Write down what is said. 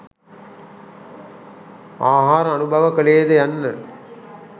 ආහාර අනුභව කළේද යන්න